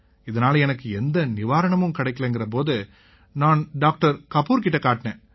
இதனால எனக்கு எந்த நிவாரணமும் கிடைக்கலைங்கற போது நான் டாக்டர் கபூர் கிட்ட காட்டினேன்